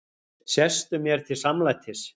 Sestu mér til samlætis.